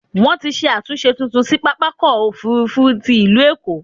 Wọ́n ti ṣe àtúnṣe tuntun sí pápákọ̀-òfurufú ti il̀ú Èkó.